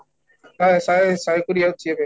ଶହେ ଶହେ ଶହେ କୋଡିଏ ଅଛି ଏବେ